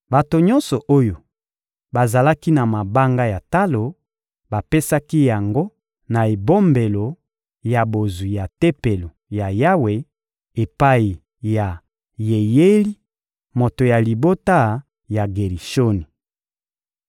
Bato nyonso oyo bazalaki na mabanga ya talo bapesaki yango na ebombelo ya bozwi ya Tempelo ya Yawe epai ya Yeyeli, moto ya libota ya Gerishoni.